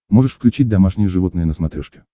можешь включить домашние животные на смотрешке